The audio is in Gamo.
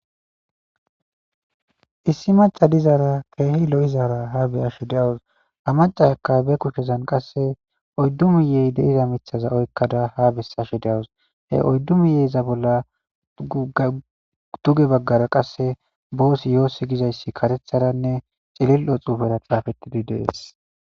Issi maca dizaara keehi lo7izaara ha beyasho deawus ha macasaka be kushezan qasse oddu miyey deiza mithaza oykkada ha bessashe de7awus he oyddu miyeyza bolla duge baggara qasse boos yoossi gizayssi katetharanne cilil7o xuufera xaafettidi dees.